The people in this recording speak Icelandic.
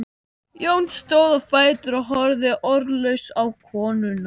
Jón stóð á fætur og horfði orðlaus á konuna.